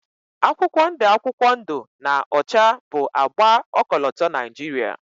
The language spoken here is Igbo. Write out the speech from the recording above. akwụkwọ ndụ akwụkwọ ndụ na ọcha bụ agba ọkọlọtọ Niajiria